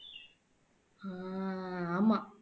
அஹ் ஆமா